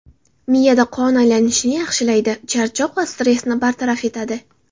Miyada qon aylanishini yaxshilaydi, charchoq va stressni bartaraf etadi.